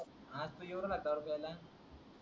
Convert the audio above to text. तू येऊ नाय राहत दारू पीयलला